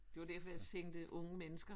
Det var derfor jeg tænkte unge mennesker